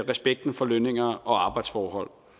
respekten for lønninger og arbejdsforhold